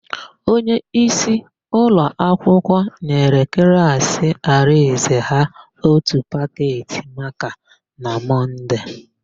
Onyeisi ụlọakwụkwọ nyere klaasị Arịnze ha ótù paketị makaa na Mọnde.